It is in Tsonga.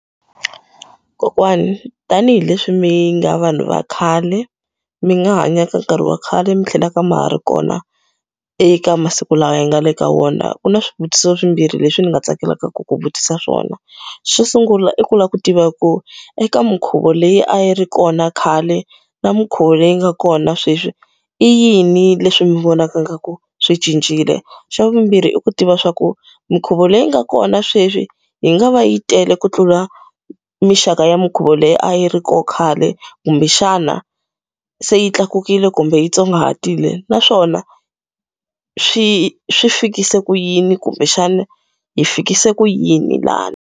Kokwani, tanihileswi mi nga vanhu va khale mi nga hanya ka nkarhi wa khale mi tlhelaka ma ha ri kona eka masiku lawa hi nga le ka wona. Ku na swivutiso swimbirhi leswi ndzi nga tsakelaka ku ku vutisa swona. Xo sungula i ku lava ku tiva ku eka minkhuvo leyi a yi ri kona khale na minkhuvo leyi nga kona sweswi, i yini leswi mi vonana ingaku swi cincile? Xa vumbirhi i ku tiva leswaku minkhuvo leyi nga kona sweswi yi nga va yi tele ku tlula minxaka ya minkhuvo leyi a yi ri kona khale, kumbexana se yi tlakukile kumbe yi tsongahatekile? Naswona swi swi fikise ku yini kumbexana hi fikise ku yini laha?